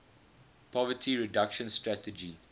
poverty reduction strategy